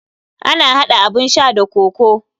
Ana hada abun sha da kokoo.